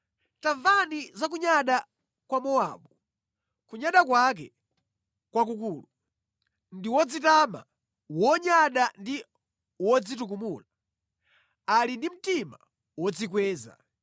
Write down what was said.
“Tamva za kunyada kwa Mowabu, kunyada kwake nʼkwakukulu. Ndi wodzitama, wonyada ndi wodzitukumula. Ali ndi mtima wodzikweza.